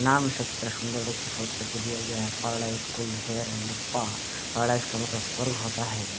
नाम उसका कितना सुंदर है देखिये सोच करके दिया गया है स्कूल हेयर एंड स्पा इसका मतलब स्वर्ग होता है।